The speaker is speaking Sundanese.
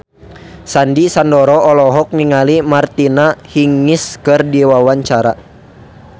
Sandy Sandoro olohok ningali Martina Hingis keur diwawancara